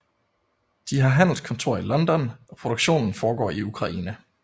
De har handelskontor i London og produktionen foregår i Ukraine